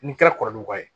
N'i kɛra kɔrɔlen wa